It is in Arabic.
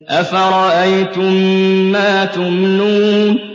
أَفَرَأَيْتُم مَّا تُمْنُونَ